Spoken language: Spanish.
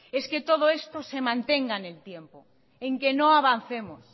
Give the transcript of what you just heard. es que todo esto se mantenga en el tiempo en que no avancemos